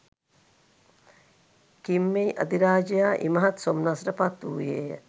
කිම්මෙයි අධිරාජයා ඉමහත් සොම්නසට පත්වූයේ ය.